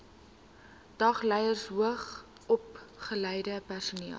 dagleerders hoogsopgeleide personeel